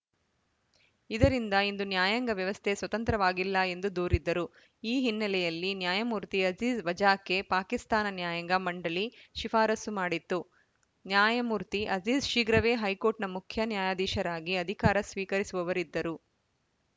ಇದರಿಂದ ಇಂದು ನ್ಯಾಯಾಂಗ ವ್ಯವಸ್ಥೆ ಸ್ವತಂತ್ರವಾಗಿಲ್ಲ ಎಂದು ದೂರಿದ್ದರು ಈ ಹಿನ್ನೆಲೆಯಲ್ಲಿ ನ್ಯಾಯಮೂರ್ತಿ ಅಜೀಜ್‌ ವಜಾಕ್ಕೆ ಪಾಕಿಸ್ತಾನ ನ್ಯಾಯಾಂಗ ಮಂಡಳಿ ಶಿಫಾರಸು ಮಾಡಿತ್ತು ನ್ಯಾಯಮೂರ್ತಿ ಅಜೀಜ್‌ ಶೀಘ್ರವೇ ಹೈಕೋರ್ಟ್‌ನ ಮುಖ್ಯ ನ್ಯಾಯಾಧೀಶರಾಗಿ ಅಧಿಕಾರ ಸ್ವೀಕರಿಸುವವರಿದ್ದರು